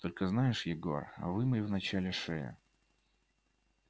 только знаешь егор вымой вначале шею